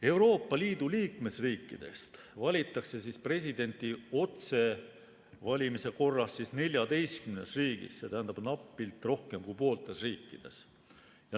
Euroopa Liidu liikmesriikidest valitakse presidenti otsevalimise korras 14 riigis, seega napilt rohkem kui pooltes riikides.